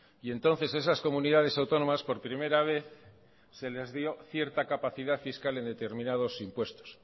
y entonces esas comunidades autónomas por primera vez se les dio cierta capacidad fiscal en determinados impuestos